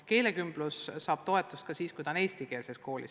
Keelekümblus saab toetust ka siis, kui seda tehakse eestikeelses koolis.